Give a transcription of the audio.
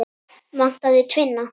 Vantar þig tvinna?